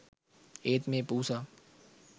ඒත් මේ පූසා